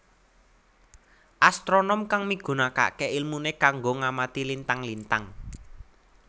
Astronom kang migunakaké ilmuné kanggo ngamati lintang lintang